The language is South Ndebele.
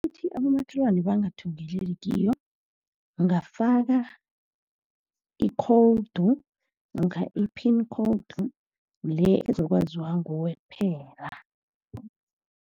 Uthi abomakhelwane bangathungeleli kiyo, ungafaka i-code, namkha i-pin code le ezokwaziwa nguwe kuphela.